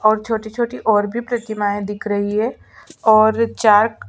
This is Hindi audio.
और छोटी-छोटी और भी प्रतिमाये दिख रही है और चार--